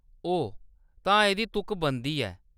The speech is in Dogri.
ओह्‌‌, तां एह्‌दी तुक बनदी ऐ।